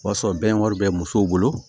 O b'a sɔrɔ bɛn wari bɛ musow bolo